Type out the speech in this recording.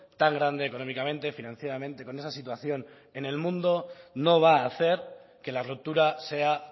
tan grande económicamente financieramente con esa situación en el mundo no va a hacer que la ruptura sea